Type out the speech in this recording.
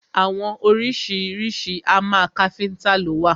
Àwọn oríṣiríṣi hámà káfíntà lo wà.